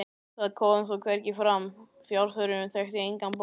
það kom þó hvergi fram: fjárþörfin þekkti engan botn.